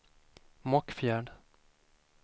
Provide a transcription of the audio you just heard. Mockfjärd